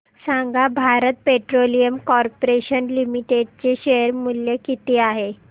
सांगा Bharat petroleum corporation limited चे share मूल्य किती आहे